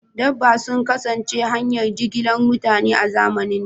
Dabbobi sun kasance hanyar jigilar mutane a zamanin da.